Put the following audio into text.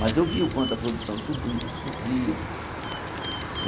Mas eu vi o quanto a produção sobri sofria.